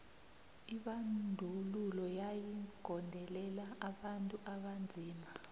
lbandwlulo yayi gondelela abantu abanzima